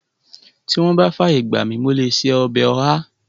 Tí wọ́n bá fàyè gbà mi, mo lè ṣe ọbẹ̀ ọ̀há